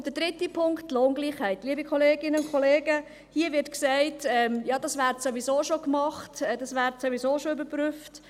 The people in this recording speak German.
Und der dritte Punkt, Lohngleichheit: Liebe Kolleginnen und Kollegen, hier wird gesagt, das werde ja sowieso schon gemacht, das werde sowieso schon überprüft.